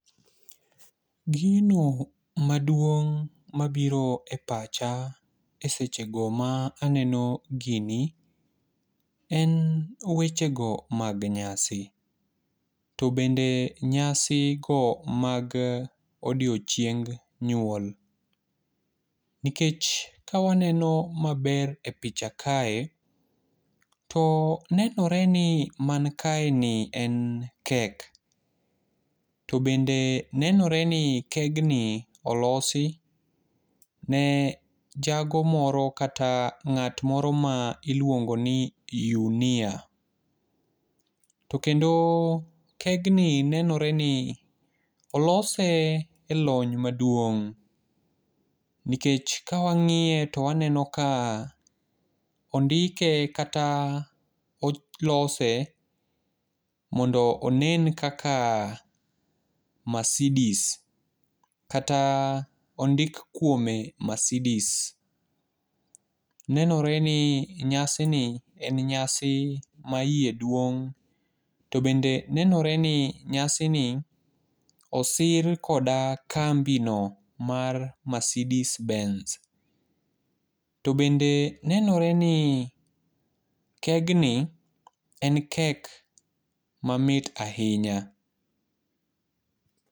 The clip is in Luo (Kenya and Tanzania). Gino maduong' ma biro e pacha eseche go ma aneno gini en wechego mag nyasi to bende nyasi go mag odiechieng nyuol nikech kawaneno maber e picha kae, to nenore ni man kaeni en kek. To bende nenore ni kegni olosi ne jago moro kata ng'at moro ma iluongoni Yunia. To kendo kegni nenore ni olose elony maduong' nikech ka wang'iye to waneno ka ondike kata olose mondo onen kaka masidis kata ondik kuome masidis. Nenore ni nyasini en nyasi maiye duong' to bende nenore ni nyasini osir koda kambino mar masidisbens. To bende nenore ni kegni en kek mamit ahinya.